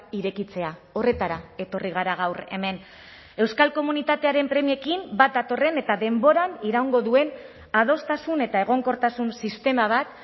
irekitzea horretara etorri gara gaur hemen euskal komunitatearen premiekin bat datorren eta denboran iraungo duen adostasun eta egonkortasun sistema bat